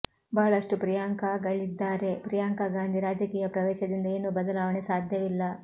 ಬಹಳಷ್ಟು ಪ್ರಿಯಾಂಕಾಗಳಿದ್ದಾರೆ ಪ್ರಿಯಾಂಕಾ ಗಾಂಧಿ ರಾಜಕೀಯ ಪ್ರವೇಶದಿಂದ ಏನೂ ಬದಲಾವಣೆ ಸಾಧ್ಯವಿಲ್ಲ